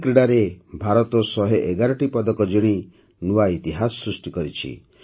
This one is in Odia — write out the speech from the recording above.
ଏହି କ୍ରୀଡ଼ାରେ ଭାରତ ୧୧୧ଟି ପଦକ ଜିଣି ନୂଆ ଇତିହାସ ସୃଷ୍ଟି କରିଛି